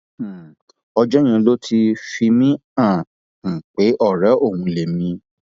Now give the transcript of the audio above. um ọjọ yẹn ló ti fi mí hàn án um pé ọrẹ òun lèmi